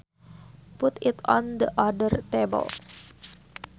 Put it on the other table